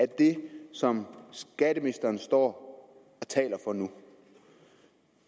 det som skatteministeren står og taler for nu